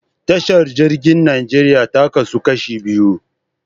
Tashar jirgin Najeriya ta kasu kashi biyu.